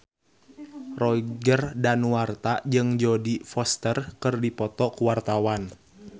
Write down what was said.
Roger Danuarta jeung Jodie Foster keur dipoto ku wartawan